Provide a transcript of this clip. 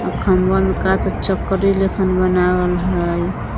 खंभवा में का तो चकरी लेखन बनावल हइ।